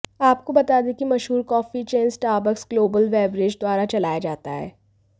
आपको बता दें कि मशहूर coffee chain Starbucks global beverage द्वारा चलाया जाता है